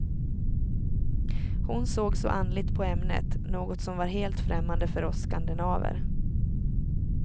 Hon såg så andligt på ämnet, något som var helt främmande för oss skandinaver.